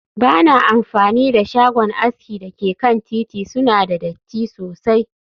Ba na amfani da shagon aski da ke kan titi, suna da datti sosai